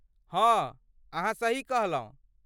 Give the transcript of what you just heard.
हँ, अहाँ सही कहलहुँ!